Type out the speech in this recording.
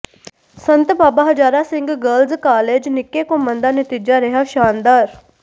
ਸੰਤ Baba Hazara Singh girls college Nikke Ghumman ਦਾ ਨਤੀਜਾ ਰਿਹਾ ਸ਼ਾਨਦਾਰ